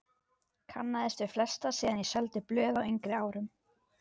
Kannaðist við flesta síðan ég seldi blöð á yngri árum.